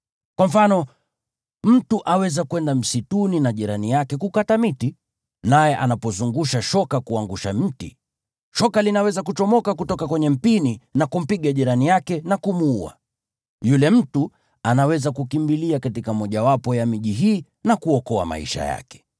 Kwa mfano, mtu aweza kwenda msituni na jirani yake kukata miti, naye anapozungusha shoka kuangusha mti, shoka linaweza kuchomoka kutoka kwenye mpini na kumpiga jirani yake na kumuua. Yule mtu anaweza kukimbilia katika mmojawapo ya miji hii na kuokoa maisha yake.